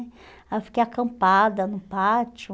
Aí eu fiquei acampada no pátio.